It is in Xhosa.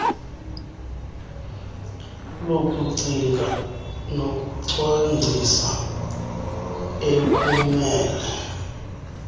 lokucinga nokucwangcisa ekumele